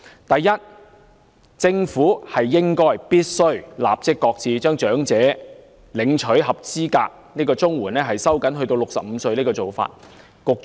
第一，政府必須立即擱置將領取長者綜援的合資格年齡收緊至65歲的做法。